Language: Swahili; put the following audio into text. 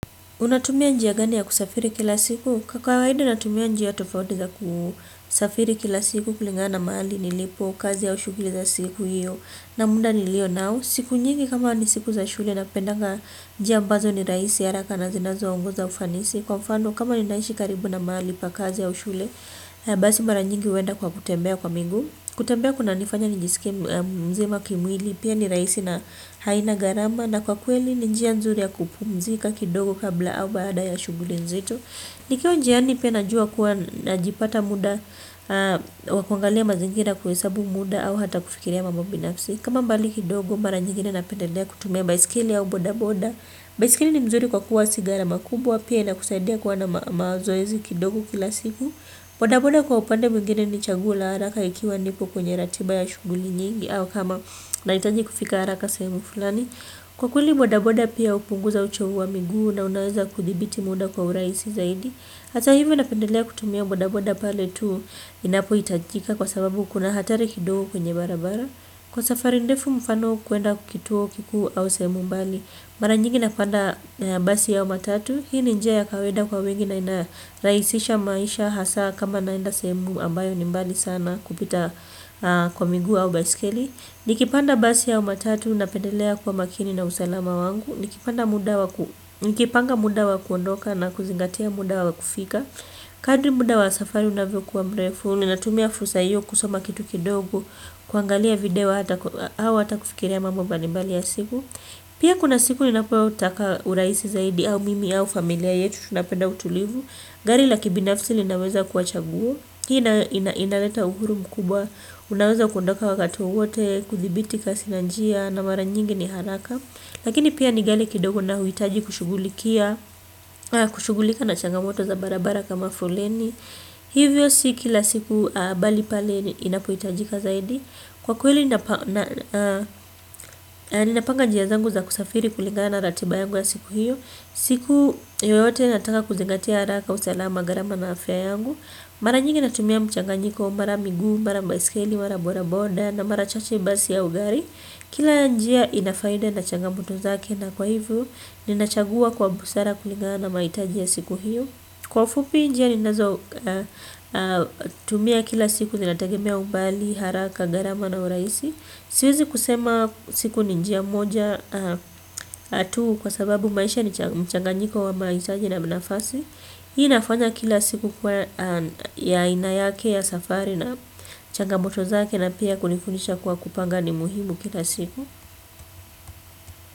Unatumia njia gani ya kusafiri kila siku? Kwa kawaida natumia njia tofauti za kusafiri kila siku kulingana mahali nilipo, kazi au shughuli za siku hiyo na muda nilio nao. Siku nyingi kama ni siku za shule napenda njia ambazo ni rahisi, haraka na zinazo ongoza ufanisi. Kwa mfano kama ninaishi karibu na mahali pa kazi ya shule, basi mara nyingi huenda kwa kutembea kwa miguu. Kutembea kunanifanya nijisikie mzima kimwili pia ni rahisi na haina gharama. Na kwa kweli njia nzuri ya kupumzika kidogo kabla au baada ya shuguli nzito. Nikio njiani pia najua kuwa napata muda wakuangalia mazingira kuhesabu muda au hata kufikiria mambo binafsi. Kama mbali kidogo, mara njigi ninapendelea kutumia baisikeli au bodaboda. Baisikeli ni mzuri kwa kuwa si gharama kubwa pia inakusaidia kuwa na mazoezi kidogo kila siku. Bodaboda kwa upande mwengine ni chaguo la haraka ikiwa nipo kwenye ratiba ya shughuli nyingi. Au kama nahitaji kufika haraka sehemu fulani. Kwa kweli bodaboda pia hupunguza uchovu wa miguu na unaweza kuthibiti muda kwa uraisi zaidi. Hata hivi napendelea kutumia bodaboda pale tu inapo itapohitajika kwa sababu kuna hatari kidogo kwenye barabara. Kwa safari ndefu mfano kuenda kwa kituo kikuu au sehemu mbali, mara nyingi napanda basi au matatu. Hii ni njia ya kawaida kwa wengi na inarahisisha maisha hasaa kama naenda semu ambayo ni mbali sana kupita kwa miguu au baisikeli. Nikipanda basi au matatu napendelea kuwa makini na usalama wangu. Nikipanda muda wa ku nikipanga muda wa kuondoka na kuzingatia muda wa kufika. Kadri muda wa safari unavyokua mrefu. Ninatumia fursa hiyo kusoma kitu kidogu, kuangalia video au hata kufikiria mambo mbalimbali ya siku. Pia kuna siku inapotaka uraisi zaidi au mimi au familia yetu tunapenda utulivu. Gali la kibinafsi linaweza kuwa chaguo. Hii nayo inaleta uhuru mkubwa. Unaweza kuondoka wakati wowote, kuthibiti kasi la njia na mara nyingi ni haraka. Lakini pia ni ghali kidogo na huitaji kushugulika na changamoto za barabara kama foleni. Hivyo sio kila siku bali pale inapohitajika zaidi. Kwa kuweli ninapanga njia zangu za kusafiri kulingana ratiba yangu ya siku hiyo. Siku yeyote nataka kuzingatia haraka, usalama, gharama na afya yangu. Mara njingi natumia mchanganjiko, mara miguu, mara baisikeli, mara bodaboda na mara chache basi au gari. Kila njia ina faida na changamoto zake na kwa hivyo ninachagua kwa busara kuligana mahitaji ya siku hiyo. Kwa fupi njia ninazotumia kila siku zinategemea umbali, haraka, gharama na urahisi. Siwezi kusema siku ni njia moja tu kwa sababu maisha ni mchanganjiko wa mahitaji na nafasi. Hii nafanya kila siku kuwa na aina yake ya safari na changamoto zake na pia kunifundisha kuwa kupanga ni muhimu kila siku.